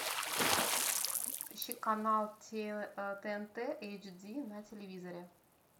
ищи канал тнт эйч ди на телевизоре